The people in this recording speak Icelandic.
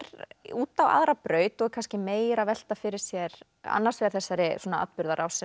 út á aðra braut og er kannski meira að velta fyrir sér annars vegar þessari atburðarás sem